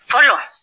Fɔlɔ